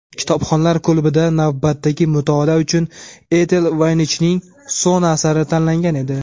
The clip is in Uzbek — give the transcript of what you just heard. "Kitobxonlar klubi"da navbatdagi mutolaa uchun Etel Voynichning "So‘na" asari tanlangan edi.